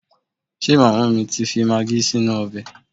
Ṣe màmá mi ti fi magí sí inú ọbẹ̀?